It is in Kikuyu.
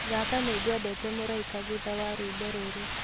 thaka nĩngwendete mũraĩka thũtha wa rwĩmbo rũrũ